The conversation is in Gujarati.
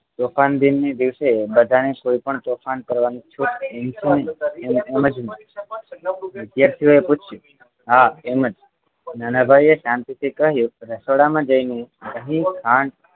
તોફાન દિનની દિવસે બધાએ કોઈપણ તોફાન કરવાની છૂટ એમ જ વિદ્યાર્થીઓએ પૂછ્યું હા એમ જ નાનાભાઈએ શાંતિથી કહ્યું રસોડામાં જઈને દહીં ખાંડ